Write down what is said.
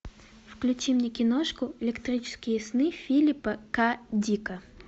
включи мне киношку электрические сны филиппа к дика